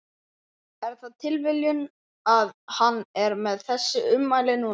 Er það tilviljun að hann er með þessi ummæli núna?